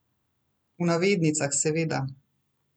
V navednicah, seveda.